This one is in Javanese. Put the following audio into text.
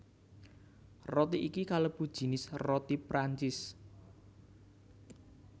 Roti iki kalebu jinis roti Prancis